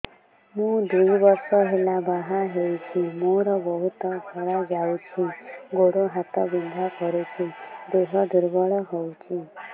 ମୁ ଦୁଇ ବର୍ଷ ହେଲା ବାହା ହେଇଛି ମୋର ବହୁତ ଧଳା ଯାଉଛି ଗୋଡ଼ ହାତ ବିନ୍ଧା କରୁଛି ଦେହ ଦୁର୍ବଳ ହଉଛି